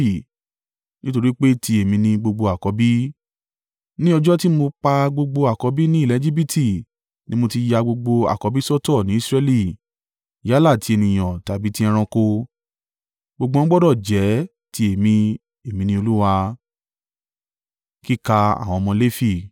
nítorí pé ti èmi ni gbogbo àkọ́bí. Ní ọjọ́ tí mo pa gbogbo àkọ́bí ní ilẹ̀ Ejibiti ni mo ti ya gbogbo àkọ́bí sọ́tọ̀ ní Israẹli yálà ti ènìyàn tàbí ti ẹranko. Gbogbo wọn gbọdọ̀ jẹ́ ti èmi. Èmi ni Olúwa.”